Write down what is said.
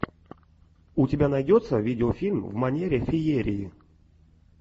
у тебя найдется видеофильм в манере феерии